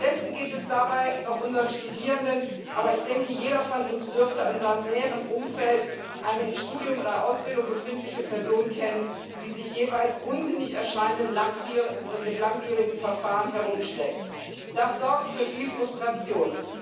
Am besten geht es dabei noch unseren Studierenden, aber jeder von uns dürfte in seinem näheren Umfeld eine in Studium oder Ausbildung befindliche Person kennen, die sich mit jeweils unsinnig erscheinenden, langwierigen Verfahren herumschlägt Das sorgt für viel Frustration.